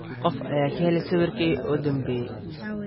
qof ayaa ka helay sawirkaygii u dambeeyay